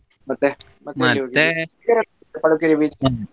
ಮತ್ತೆ ಪಡುಕೆರೆ .